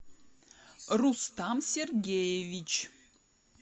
рустам сергеевич